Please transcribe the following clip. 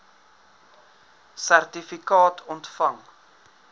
sertifikaat ontvang